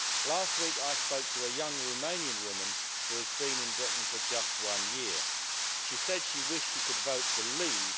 Last week, I spoke to a young Romanian woman whose been in Britain for just one year. She said she wished she could vote to leave.